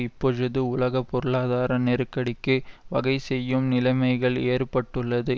இப்பொழுது உலக பொருளாதார நெருக்கடிக்கு வகை செய்யும் நிலைமைகள் ஏற்பட்டுள்ளது